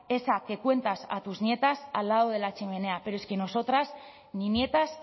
esa que cuentas a sus nietas al lado de la chimenea pero es que nosotras ni nietas